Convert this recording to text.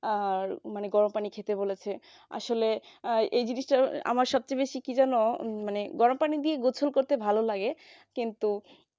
আর গরম পানিতে খেতে বলেছে আসলে আহ এই জিনিসটা আমার সবথেকে বেশি কি জানো মানে গরম পানি দিয়ে গোসল করতে ভালো লাগে কিন্তু